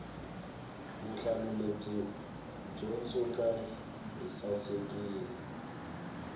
vuhlalu lebyi byo ntsuka byi sasekile